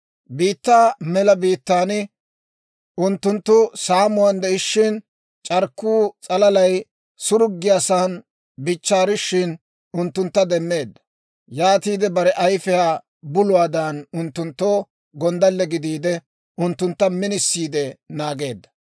Biittaa mela biittaan unttunttu saamuwaan de'ishshin, c'arkkuwaa s'alalay suraggiyaasan bichchaarishin, unttuntta demmeedda. Yaatiide bare ayfiyaa buluwaadan, unttunttoo gonddalle gidiide, unttuntta minisiide naageedda.